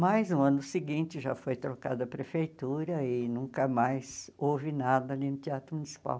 Mas, no ano seguinte, já foi trocado a prefeitura e nunca mais houve nada ali no Teatro Municipal.